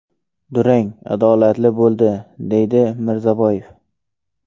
Durang adolatli bo‘ldi”, deydi Mirzaboyev.